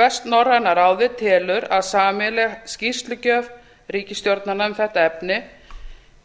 vestnorræna ráðið telur að sameiginleg skýrslugjöf ríkisstjórnanna um þetta efni